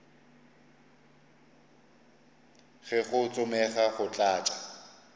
ge go tsomega go tlatša